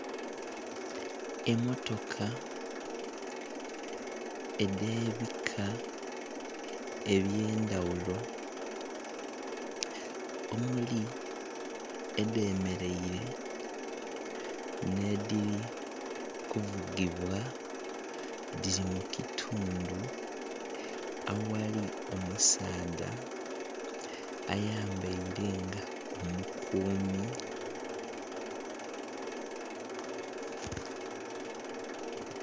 Emmotoka edhebika ebyendaghulo omuli edhemeraire nedhiri kuvugibwa dhiri mukitundhu aghali omusaadha ayambaire nga omukumi.